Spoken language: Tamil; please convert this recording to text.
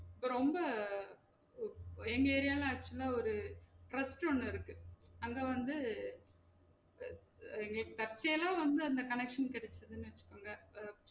ரொம்ப அஹ் எங்க area ல acutual ஆ ஒரு trust ஒன்னு இருக்கு அங்க வந்து அஹ் அஹ் தற்ச்சேயலா வந்து அந்த connection கெடச்சதுன்னு வச்சுகோங்க அஹ்